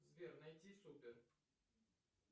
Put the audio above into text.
сбер найди супер